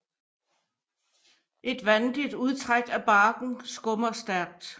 Et vandigt udtræk af barken skummer stærkt